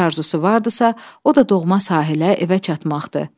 Bir arzusu vardısa, o da doğma sahilə evə çatmaqdı.